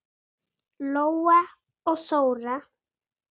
Lóa og Þóra.